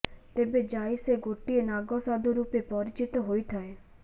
ତେବେ ଜାଇ ସେ ଗୋଟିଏ ନାଗ ସାଧୁ ରୂପେ ପରିଚିତ ହୋଇ ଥାଏ